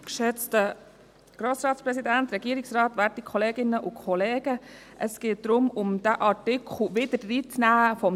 Es geht darum, diesen Artikel zum Tourismus wieder hineinzunehmen.